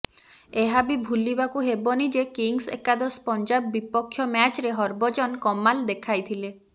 ଏହା ବି ଭୁଲିବାକୁ ହେବନି ଯେ କିଙ୍ଗସ୍ ଏକାଦଶ ପଞ୍ଜାବ ବିପକ୍ଷ ମ୍ୟାଚରେ ହରଭଜନ କମାଲ ଦେଖାଥିଲେ